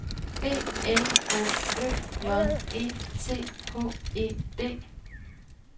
B L Å Ø J E T H E D